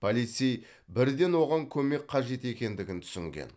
полицей бірден оған көмек қажет екендігін түсінген